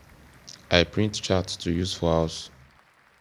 i print charts to use for house